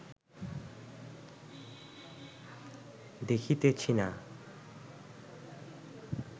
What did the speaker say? দেখিতেছি না